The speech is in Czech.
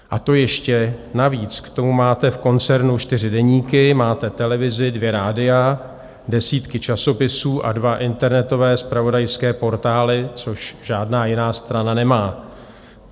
A to ještě navíc k tomu máte v koncernu čtyři deníky, máte televizi, dvě rádia, desítky časopisů a dva internetové zpravodajské portály, což žádná jiná strana nemá.